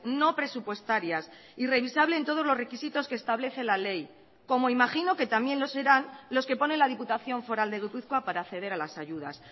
no presupuestarias y revisable en todos los requisitos que establece la ley como imagino que también lo serán los que ponen la diputación foral de gipuzkoa para acceder a las ayudas